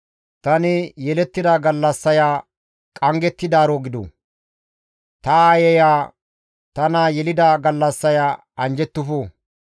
Tani yelettida gallassaya qanggettidaaro gidu! Ta aayeya tana yelida gallassaya anjjettufu!